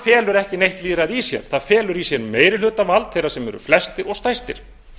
felur ekki neitt lýðræði í sér það felur í sér meirihlutavald þeirra sem eru flestir og stærstir